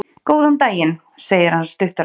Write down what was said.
Góðan daginn, segir hann stuttaralega.